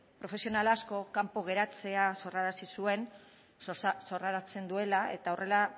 profesional asko kanpoan geratzea sorrarazten duela eta horrela